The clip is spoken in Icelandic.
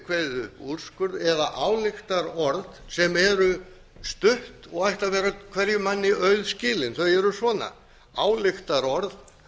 kveðið upp úrskurð eða ályktarorð sem eru stutt og ættu að vera hverjum manni auðskilin þau eru svona ályktarorð